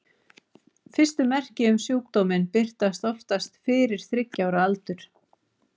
Fyrstu merki um sjúkdóminn birtast oftast fyrir þriggja ára aldur.